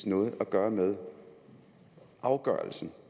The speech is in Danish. noget at gøre med afgørelsen